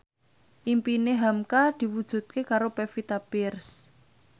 impine hamka diwujudke karo Pevita Pearce